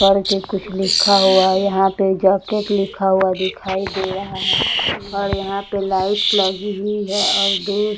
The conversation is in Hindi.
करके कुछ लिखा हुआ है यहां पर जैकेट लिखा हुआ दिखाई दे रहा है और यहां पर लाइटस लगी हुई है और दूर --